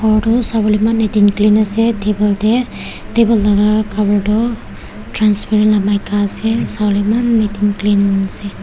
kor tu sawolae eman neat and clean ase table tae table laka cover toh transparent la maika ase sawolae eman neat and clean ase--